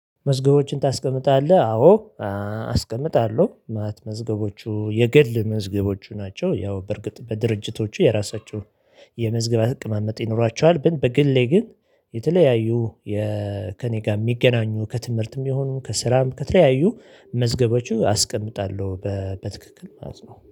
መዝገቦችን ታስቀምጣለህ አዎ አስቀምጣለሁ። ማለት መዝገቦቹ የግል መዝገቦቹ ናቸው። ያው በርግጥ በድርጅቶቹ የራሳቸውን የመዝገብ አቀማመጥ ይኖራቸዋል። ግን በግሌ ግን የተለያዩ ከእኔ ጋር የሚገናኙ ከትምህርትም ቢሆኑም ከስራም ከተለያዩ መዝገቦቹ አስቀምጣለሁ በትክክል ማለት ነው